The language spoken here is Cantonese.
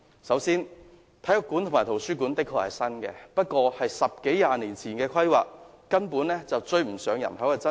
首先，體育館及圖書館的確是新建的，但卻是十多二十年前的規劃，根本追不上人口增長。